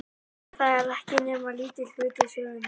En þetta er ekki nema lítill hluti sögunnar.